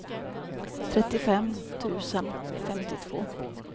trettiofem tusen femtiotvå